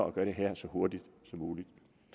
at gøre det her så hurtigt som muligt